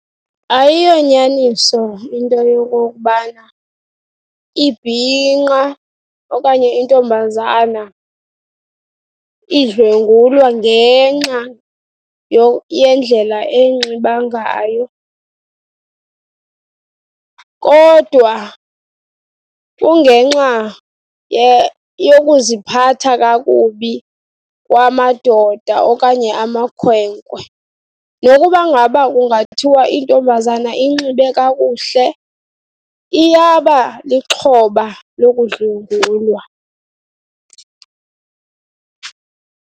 Ayiyonyaniso into yokokubana ibhinqa okanye intombazana idlwengulwa ngenxa yendlela enxiba ngayo, kodwa kungenxa yokuziphatha kakubi kwamadoda okanye amakhwenkwe. Nokuba ngaba kungathiwa intombazana inxibe kakuhle, iyaba lixhoba lokudlwengulwa.